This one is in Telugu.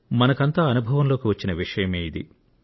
మనకంతా అనుభవంలోకి వచ్చిన విషయమే ఇది